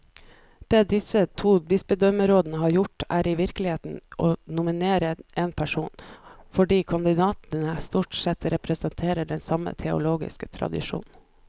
Det disse to bispedømmerådene har gjort, er i virkeligheten å nominere én person, fordi kandidatene stort sett representerer den samme teologiske tradisjon.